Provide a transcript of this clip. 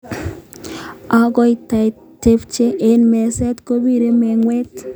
Akotaitebche eng meset kobire mengwet